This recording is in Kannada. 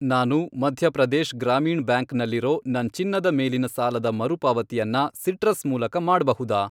ನಾನು ಮಧ್ಯ ಪ್ರದೇಶ್ ಗ್ರಾಮೀಣ್ ಬ್ಯಾಂಕ್ ನಲ್ಲಿರೋ ನನ್ ಚಿನ್ನದ ಮೇಲಿನ ಸಾಲದ ಮರುಪಾವತಿಯನ್ನ ಸಿಟ್ರಸ್ ಮೂಲಕ ಮಾಡ್ಬಹುದಾ?